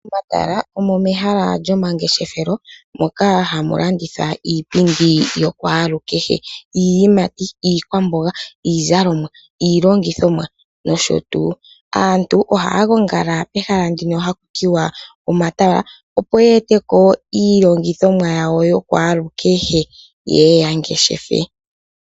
Omatala omo mehala lyomangeshefelo moka hamulandithwa iipindi yakwalukehe, iiyimati, iikwamboga, iizalomwa, iilongithomwa nosho tuu. Aantu oha gongala pehala ndino hakutiwa omatala opo yete ko iilongithomwa yawo yakwalukehe yeye yangeshefe.